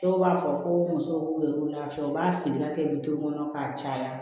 Dɔw b'a fɔ ko muso b'u yɛrɛ lafiya u b'a siri ka kɛ bi kɔnɔ k'a caya